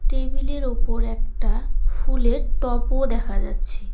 Table -এর ওপর একটা ফুলের টবও দেখা যাচ্ছে।